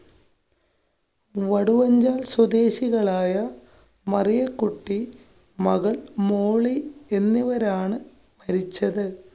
വടുവഞ്ചല്‍ സ്വദേശികളായ മറിയ കുട്ടി, മകള്‍ മോളി എന്നിവരാണ് മരിച്ചത്.